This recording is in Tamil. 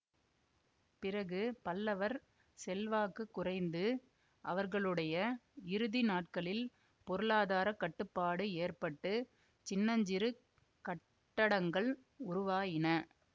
பிறகு பல்லவர் செல்வாக்குக் குறைந்து அவர்களுடைய இறுதி நாட்களில் பொருளாதார கட்டுப்பாடு ஏற்பட்டு சின்னஞ்சிறு கட்டடங்கள் உருவாயின